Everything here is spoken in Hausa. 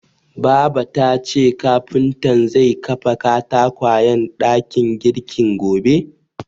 Baba tace kafuntan zai kafa katakwayen dakin girkin gobe.